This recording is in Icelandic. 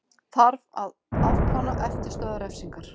Þarf að afplána eftirstöðvar refsingar